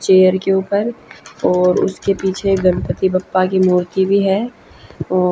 chair के ऊपर और उसके पीछे गणपति बप्पा की मूर्ति भी है ओ--